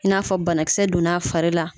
I n'a fɔ banakisɛ donn'a fari la.